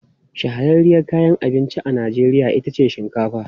Shahararriyar kayan abinci a Najeriya ita ce shinkafa.